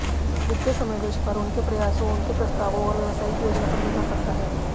वित्तीय समावेश पर उनके प्रयासों उनके प्रस्तावों और व्यावसायिक योजना पर निर्भर करता है